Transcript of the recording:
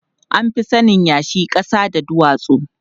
An fi sanin yashi, ƙasa da duwatsu.